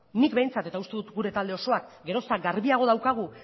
nik behintzat eta uste dut gure talde osoak gero eta garbiago daukagu